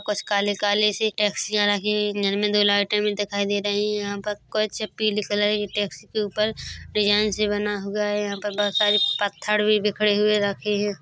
यहाँ पर काले - काले सी टेक्सिया रखी हुई है उनमे दो लाइट भी दिखाई दे रही है यहाँ पर कुछ पीले कलर कि टैक्सी के ऊपर डिज़ाइनस भी बना हुआ है यहाँ पर बहुत सारे पत्थर भी बिखरे हुए रखे है ।